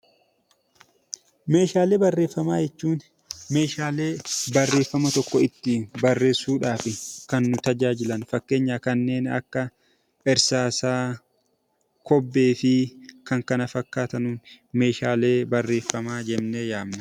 Meeshaalee barreeffama jechuun meeshaalee barreeffama tokko ittiin barreessuudhaf kan nu tajaajilan fakkeenyaaf irsaasaa, kobbee fi kan kana fakkaatan meeshaalee barreeffamaa jennee waamna.